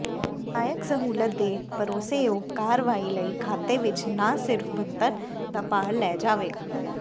ਸਹਾਇਕ ਸਹੂਲਤ ਦੇ ਭਰੋਸੇਯੋਗ ਕਾਰਵਾਈ ਲਈ ਖਾਤੇ ਵਿੱਚ ਨਾ ਸਿਰਫ ਬਣਤਰ ਦਾ ਭਾਰ ਲੈ ਜਾਵੇਗਾ